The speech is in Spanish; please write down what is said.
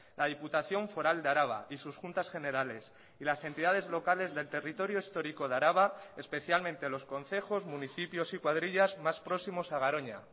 la diputación foral de araba y sus juntas generales y las entidades locales del territorio histórico de araba especialmente los concejos municipios y cuadrillas más próximos a garoña